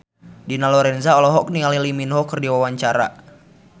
Dina Lorenza olohok ningali Lee Min Ho keur diwawancara